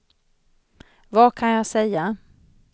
vad kan jag säga